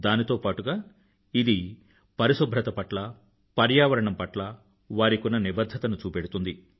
దానితో పాటుగా ఇది పరిశుభ్రత పట్ల పర్యావరణం పట్ల వారికున్న నిబధ్ధతను చూపెడుతుంది